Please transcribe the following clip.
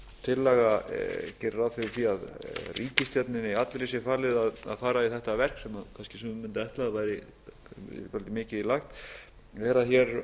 tillaga gerir ráð fyrir því að ríkisstjórninni allri sé falið að fara í þetta verk sem kannski sumir mundu ætla að væri svolítið mikið í lagt þá er hér